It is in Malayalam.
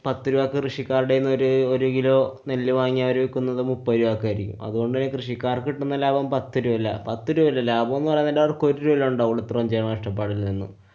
കൃഷിക്കാരുടെയും ഒര്~ ഒരു kilo നെല്ലു വാങ്ങ്യാ അവരു ന്നത് മുപ്പതു ചാക്ക് അരി. അതുകൊണ്ടന്നെ കൃഷിക്കാര്‍ക്ക് കിട്ടുന്ന ലാഭം പത്തുരൂപല്ല. പത്തു രൂപല്ലാ, ലാഭം എന്ന് പറയുന്നത് അവര്‍ക്ക് ഒരു രൂപല്ലേ ഒണ്ടാവോള്ളൂ. ഇത്രോം ചെയ്യുന്ന കഷ്ട്ടപ്പാടില്‍ നിന്ന്